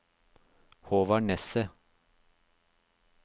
Håvard Nesset